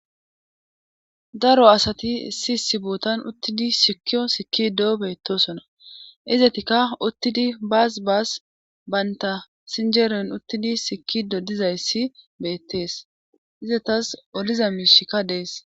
daro asati issi issi bootan uttidi sikkiyo sikido beettosona. izetikka uttidi baas baas baynta sinjeere uttidi sikido dizayssi beettees izetas oliza miishikka dees.